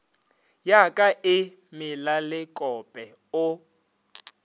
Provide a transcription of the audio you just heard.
ya ka e melalekope o